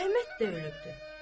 Əhməd də ölübdür.